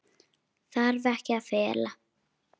Þarf ekkert að fela.